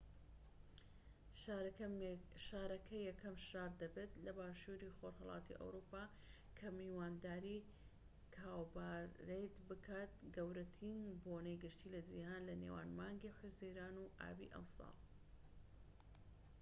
شارەکە یەکەم شار دەبێت لە باشوری خۆرهەڵاتی ئەوروپا کە میوانداری کاوپارەید بکات گەورەترین بۆنەی گشتی لە جیهان لە نێوان مانگی حوزەیران و ئابی ئەم ساڵ